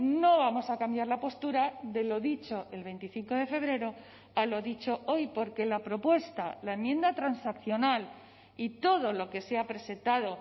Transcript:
no vamos a cambiar la postura de lo dicho el veinticinco de febrero a lo dicho hoy porque la propuesta la enmienda transaccional y todo lo que se ha presentado